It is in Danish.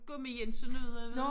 Gummi Jensen ude ved